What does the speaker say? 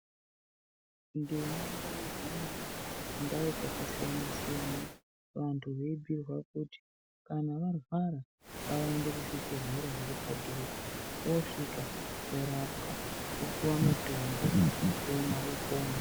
Nduma ngayihambe kundau dzakasiyana siyana kuti kana vantu veyibhuyirwa kuti kana varwara ngavaende kuzvibhedhlera vosvika vorapwa vopiwa mutombo vomwa vopona.